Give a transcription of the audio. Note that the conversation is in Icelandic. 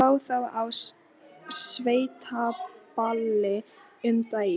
Notkun djúpdælna í borholum olli byltingu í vatnsöflun Hitaveitunnar.